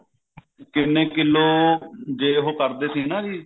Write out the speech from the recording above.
ਕਿੰਨੇ ਕਿਲੋ ਜੇ ਉਹ ਕਰਦੇ ਸੀਗੇ ਨਾ ਜੀ